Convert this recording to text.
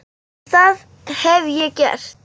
En það hef ég gert.